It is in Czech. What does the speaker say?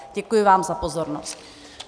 Děkuji vám za pozornost.